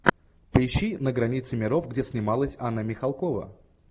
поищи на границе миров где снималась анна михалкова